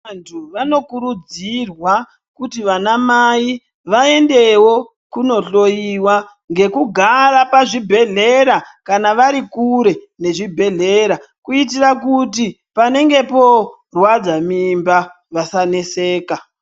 Vantu vano kurudzirwa kuti vana mai vaendewo kuno hloyiwa ngekugara pa zvibhedhlera kana varikure nezvibhedhleya kuitira kuti panenge porwadza mimba vasaneseka.